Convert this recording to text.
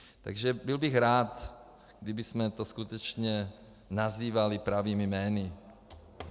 Takže bych byl rád, kdybychom to skutečně nazývali pravými jmény.